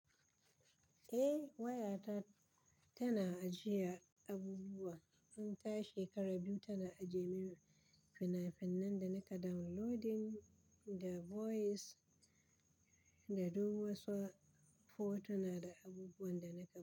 Eh, waya ta tana ajiye abubuwa tun ta shekara biyu tana aje min fina-finan da na ka downloading da voice da duk wasu photo na da abubuwan da na ɗauko.